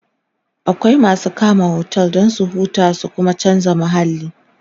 akwai masu kama otel Dan su huta su Kuma chanza mahalli